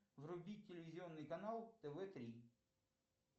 вруби телевизионный канал тв три